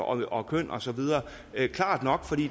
og køn og så videre det er klart nok fordi